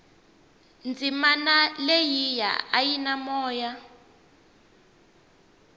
dzimana leyia a yi na moya